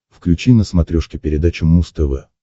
включи на смотрешке передачу муз тв